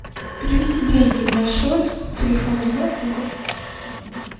перевести деньги на счет телефона для друга